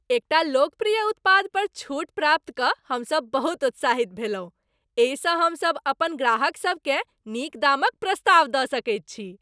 एकटा लोकप्रिय उत्पाद पर छूट प्राप्त कऽ हमसभ बहुत उत्साहित भेलहुँ, एहिसँ हमसभ अपन ग्राहकसभकेँ नीक दामक प्रस्ताव दऽ सकैत छी।